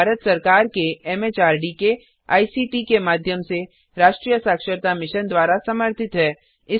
यह भारत सरकार के एमएचआरडी के आईसीटी के माध्यम से राष्ट्रीय साक्षरता मिशन द्वारा समर्थित है